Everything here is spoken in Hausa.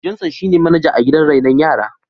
Johnson shine manaja a gidan raino yara.